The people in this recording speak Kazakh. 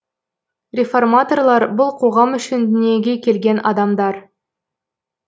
реформаторлар бұл қоғам үшін дүниеге келген адамдар